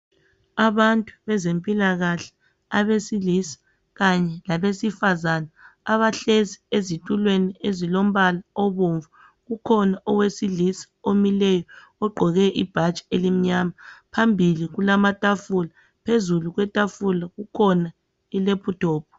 Abantu bezempilakahle abesilisa kanye labesifazana abahlezi ezitulweni ezilombala obomvu kukhona owesilisa omileyo ogqoke ibhatshi elimnyama phambili kulamatafula, phezulu kwetafula kukhona ileputopu.